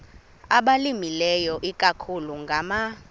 abalimileyo ikakhulu ngama